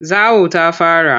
Zawo ta fara.